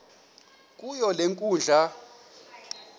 kuyo le nkundla